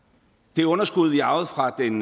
det underskud vi arvede fra den